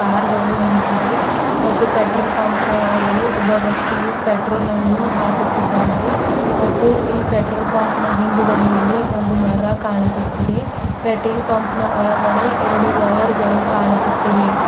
Car ಗಳು ನಿಂತಿವೆ ಮತ್ತು ಪೆಟ್ರೋಲ್ ಪಂಪ್ ನ ಒಳಗಡೆ ಒಬ್ಬ ವ್ಯಕ್ತಿಯೂ ಪೆಟ್ರೋಲ್ ಅನ್ನೂ ಹಾಕುತ್ತಿದ್ದಾರೆ ಮತ್ತು ಈ ಪೆಟ್ರೋಲ್ ಪಂಪ್ ನ ಹಿಂದುಗಡೆಯಲ್ಲಿ ಒಂದು ಮರ ಕಾಣಿಸುತ್ತಿದೆ ಪೆಟ್ರೋಲ್ ಪಂಪ್ ನ ಒಳಗಡೆ ಎರಡು ವೈರ್ ಗಳು ಕಾಣಿಸುತ್ತಿವೆ.